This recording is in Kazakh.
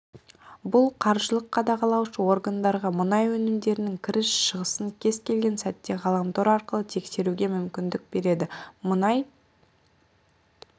бұл қаржылық қадағалаушы органдарға мұнай өнімдерінің кіріс-шығысын кез келген сәтте ғаламтор арқылы тексеруге мүмкіндік береді мұнай